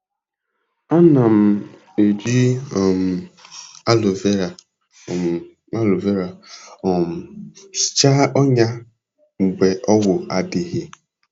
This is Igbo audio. Ana m eji um aloe vera um aloe vera um hichaa ọnya mgbe ọgwụ adịghị.